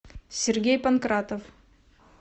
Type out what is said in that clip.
сергей панкратов